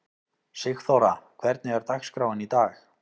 Sigþóra, hvernig er dagskráin í dag?